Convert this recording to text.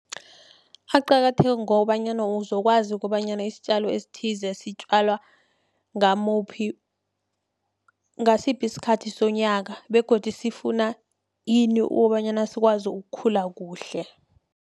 Aqakatheke ngobanyana uzokwazi ukobanyana isitjalo esithize sitjalwa ngasiphi isikhathi sonyaka, begodu sifuna ini, ukobanyana sikwazi ukukhula kuhle.